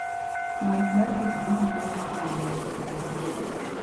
Ng'wech mar pikipiki konyo e miyo ng'ato obed mamor.